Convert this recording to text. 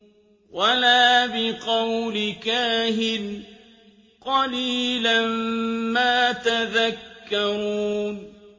وَلَا بِقَوْلِ كَاهِنٍ ۚ قَلِيلًا مَّا تَذَكَّرُونَ